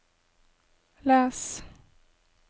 les